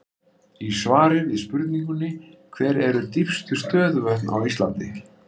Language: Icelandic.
Í svari við spurningunni Hver eru dýpstu stöðuvötn á Íslandi?